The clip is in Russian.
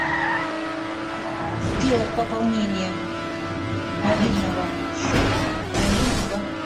сделать пополнение мобильного счета моего друга